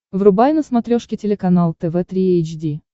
врубай на смотрешке телеканал тв три эйч ди